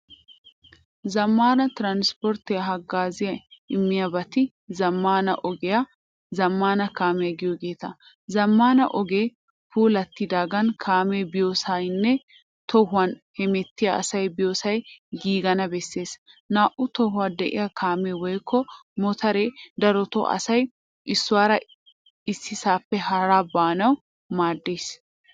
Zamaana tiranspporttiyaa hagaazza immiyaabatti zamaana ogiyaa, zamaana kaamiyaa giyogetta. Zamaana ogee puulattidagan kaamee biyosaynne tohuwaan hemettiya asay biyosay giigana bessees. Naa'u tohuwaa de'iyaa kaame woykko motore darotto asay eesuwaara ississappe hara baanawu maadees.